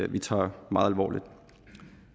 vi tager meget alvorligt